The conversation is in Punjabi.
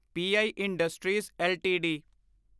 P I industries LTD